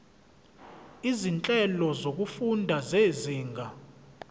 izinhlelo zokufunda zezinga